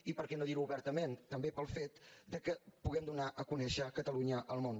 i per què no dir·ho obertament també pel fet que puguem donar a conèixer catalunya al món